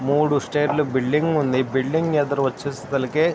మూడు stair building ఉంది building ఎదురు వచ్సి కే --